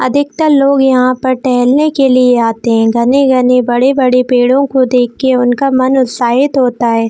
अधिकतर लोग यहाँ पर टहलने की लिए आते है घने-घने बड़े-बड़े पेड़ों को देखके उनका मन उत्साहित होता है।